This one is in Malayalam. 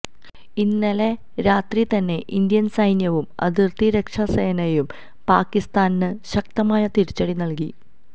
ഇന്നലെ രാത്രി തന്നെ ഇന്ത്യന് സൈന്യവും അതിര്ത്തി രക്ഷാ സേനയും പാകിസ്ഥാന് ശക്തമായ തിരിച്ചടി നല്കി